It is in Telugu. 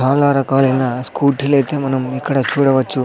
చాలా రకాలైన స్కూటీలైతే మనం ఇక్కడ చూడవచ్చు.